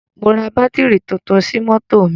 Mo ra bátírì tuntun sí mọ́tò mi.